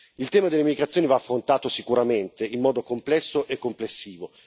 Il tema dell'immigrazione va affrontato sicuramente, in modo complesso e complessivo.